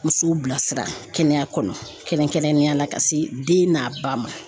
Musow bilasira kɛnɛya kɔnɔ kɛrɛnkɛrɛnnenya la ka se den n'a ba ma.